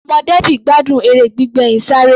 Ọmọ Debby gbádùn eré gbígbé ẹyin sáré.